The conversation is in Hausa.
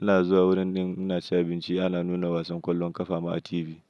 Ina zuwa wurin ɗin ina cin abinci ana nuna wasan ƙwallon ƙafa ma a TV.